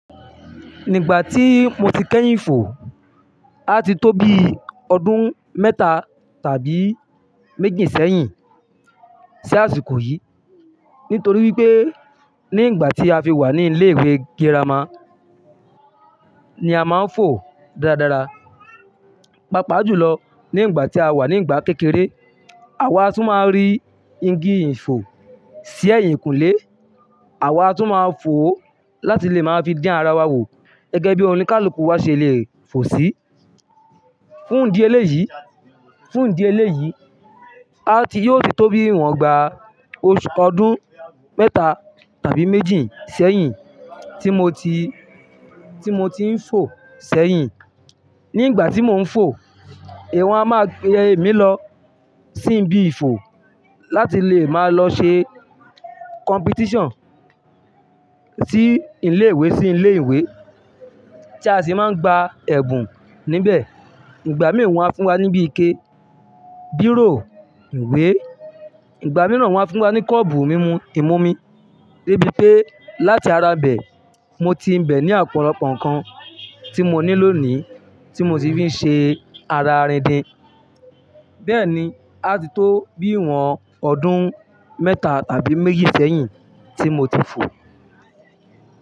Nígbà tí mo ti kẹ́yìn fò, á ti tó bí ọdún mẹ́ta tàbí méjì sẹ́yìn sí àsìkò yìí. Nítorí wípé nígbà tí a fi wà ní ilé ìwé girama ni a máa ń fò dáradára. Pápá jùlọ nígbà tí a wà nígbà kékeré, àwa tún máa ń rí igi ìfò sí ẹ̀yìnkùlé. Àwa tún máa ń fò láti lè máa fi din ara wa wò gẹ́gẹ́ bí oníkálukú wa ṣe lè fò sí. Fún ìdí eléyìí, fún ìdí eléyìí, á ti yóò ti tó bí ìwọ̀n igbà oṣù ọdún mẹ́ta tàbí méjì sẹ́yìn tí mo ti, tí mo ti ń fò sẹ́yìn. Nígbà tí mò ń fò, ìwọ̀n a máa pe èmi lọ sí ibi ìfò láti lè máa lọ ṣe competition sí ilé-ìwé sí ilé-ìwé tí a sì máa ń gba ẹ̀bùn níbẹ̀. Ìgbà mí ìwọ̀n á fún wa níbí ike, bírò ìwé, ìgbà mìíràn wọ́n á fún wa ní kọ́ọ̀pù mímú ìmu omi dé bí pé láti ara bẹ̀, mo ti ń bẹ̀ ní àpọ̀lopọ́ nnkan tí mo ní lónìí tí mo sì fi ń ṣe ara rindin. Bẹ́ẹ̀ ni, á ti tó bí ìwọ̀n ọdún mẹ́ta tàbí méjì sẹ́yìn tí mo ti fò.